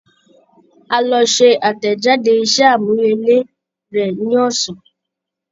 Á lọ ṣẹ àtẹ̀jáde iṣẹ́ àmúrelé rẹ̀ ní ọ̀sán